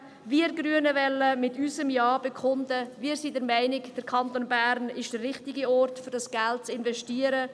Mit unserem Ja wollen wir Grüne bekunden, dass wir der Meinung sind, der Kanton Bern sei der richtige Ort, um dieses Geld zu investieren.